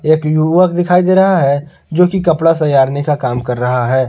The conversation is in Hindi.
एक युवक दिखाई दे रहा है जो की कपड़ा सजारने करने का काम कर रहा है।